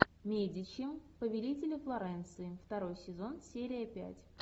медичи повелители флоренции второй сезон серия пять